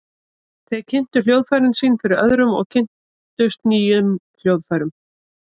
Þeir kynntu hljóðfærin sín fyrir öðrum og kynntust nýjum hljóðfærum.